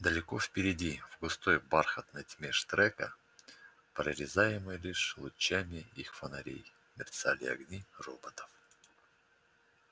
далеко впереди в густой бархатной тьме штрека прорезаемой лишь лучами их фонарей мерцали огни роботов